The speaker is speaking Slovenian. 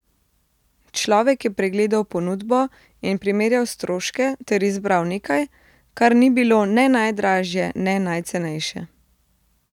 Človek je pregledal ponudbo in primerjal stroške ter izbral nekaj, kar ni bilo ne najdražje ne najcenejše.